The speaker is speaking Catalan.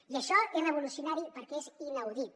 i això és revolucionari perquè és inaudit